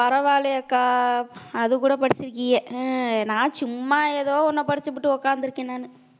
பரவாயில்லையேக்கா அதுகூட படிச்சிருக்கீங்க ஹம் நான் சும்மா ஏதோ ஒண்ணை படிச்சுபுட்டு உட்கார்ந்திருக்கேன் நானு